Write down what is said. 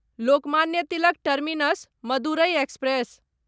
Lokmanya Tilak terminus Madurai express